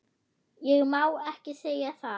Ég má ekki segja það